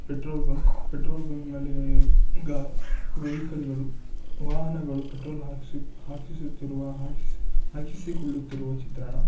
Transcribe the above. petrol bunk petrol bunk ನಲ್ಲಿ ಈಗ vehicle ಗಳು ವಾಹನಗಳು ಪೆಟ್ರೋಲ್ ಹಾಕಿಸುತ್ತಿರುವ ಹಾಕಿಸಿಕೊಳ್ಳುತ್ತಿರುವ ಚಿತ್ರಣ --